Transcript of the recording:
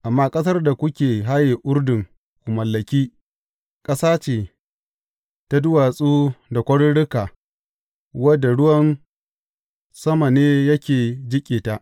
Amma ƙasar da kuke haye Urdun ku mallaki, ƙasa ce ta duwatsu da kwaruruka wadda ruwan sama ne yake jiƙe ta.